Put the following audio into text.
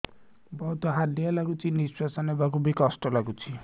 ବହୁତ୍ ହାଲିଆ ଲାଗୁଚି ନିଃଶ୍ବାସ ନେବାକୁ ଵି କଷ୍ଟ ଲାଗୁଚି